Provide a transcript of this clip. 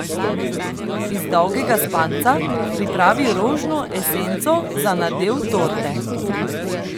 Iz dolgega spanca pripravi rožno esenco za nadev torte.